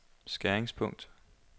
skæringspunkt